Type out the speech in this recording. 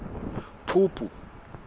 phupu